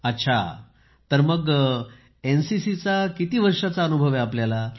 अच्छा तर मग एनसीसीचा किती वर्षांचा अनुभव आहे आपल्याला